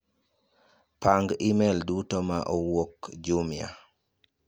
Rang' imel duto ma owuok Jumia.